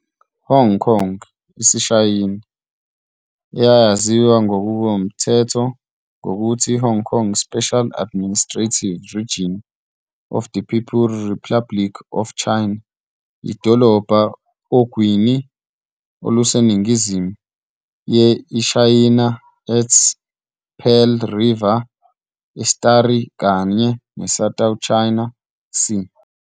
Hong Kong, IsiShayina, eyayaziwa ngokomthetho ngokuthi Hong Kong Special Administrative Region of the People Republic of China, yidolobha ogwini oluseningizimu ye iShayina at the Pearl River Estuary kanye South China Sea.